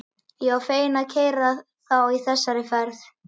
Ég var fenginn til að keyra þá í þessari ferð.